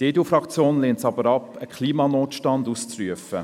Die EDU-Fraktion lehnt es ab, einen Klimanotstand auszurufen.